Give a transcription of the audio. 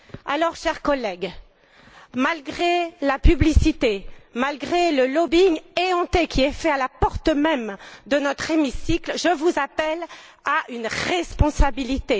Alors, chers collègues, malgré la publicité, malgré le lobbying éhonté pratiqué à la porte même de notre hémicycle, je vous appelle à la responsabilité.